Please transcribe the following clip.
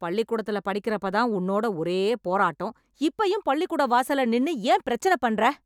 பள்ளிக்கூடத்துல படிக்கறப்ப தான் உன்னோட ஒரே போராட்டம். இப்பயும் பள்ளிக்கூட வாசல்ல நின்னு ஏன் பெரச்சனப் பண்ற?